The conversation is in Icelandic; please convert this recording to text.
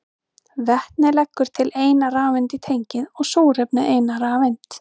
Vetnið leggur til eina rafeind í tengið og súrefnið eina rafeind.